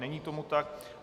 Není tomu tak.